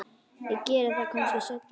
Ég geri það kannski seinna.